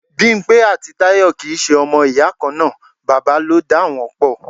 Bimpe àti Tayọ kì í ṣe ọmọ ìyá kan náà, bàbá ló dá wọn pò.